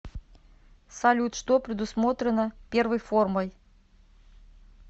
салют что предусмотрено первой формой